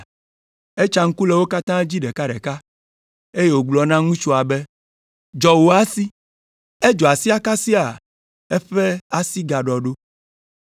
Etsa ŋku le wo katã dzi ɖekaɖeka, eye wògblɔ na ŋutsua be, “Dzɔ wò asi.” Edzɔ asia kasia eƒe asi gaɖɔ ɖo.